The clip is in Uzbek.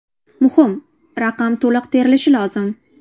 Muhim: raqam to‘liq terilishi lozim.